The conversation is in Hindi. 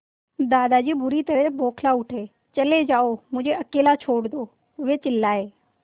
दादाजी बुरी तरह बौखला उठे चले जाओ मुझे अकेला छोड़ दो वे चिल्लाए